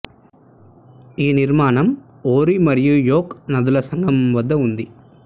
ఈ నిర్మాణం ఓరి మరియు యైక్ నదుల సంగమం వద్ద ఉంది